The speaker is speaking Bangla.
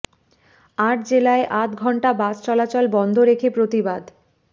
আট জেলায় আধ ঘণ্টা বাস চলাচল বন্ধ রেখে প্রতিবাদ